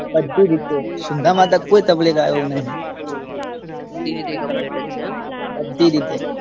બધ્ધી રીતે. સિંધામાં કોઈ ગાયો નહિ. બધી રીતે કમ્પ્લીટ જ છે એમ. બધી રીતે.